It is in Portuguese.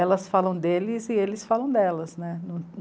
Elas falam deles e eles falam delas né.